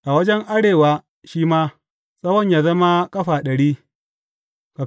A wajen arewa shi ma, tsawon yă zama ƙafa ɗari.